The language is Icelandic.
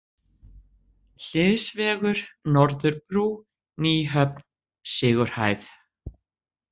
Hliðsvegur, Norðurbrú, Nýhöfn, Sigurhæð